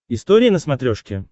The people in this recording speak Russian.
история на смотрешке